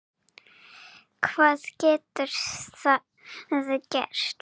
Hvað getur það gert?